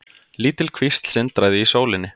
Lítil kvísl sindraði í sólinni.